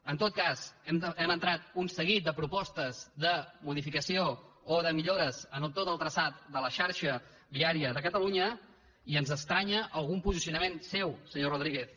en tot cas hem entrat un seguit de propostes de modificació o de millores en el to del traçat de la xarxa viària de catalunya i ens estranya algun posicionament seu senyor rodríguez